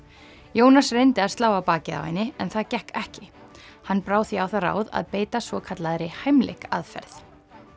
Jónas reyndi að slá á bakið á henni en það gekk ekki hann brá því á það ráð að beita svokallaðri aðferð